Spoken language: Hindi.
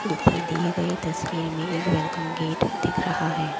ऊपर दिए गए तस्वीर में एक वेलकम गेट दिख रहा है।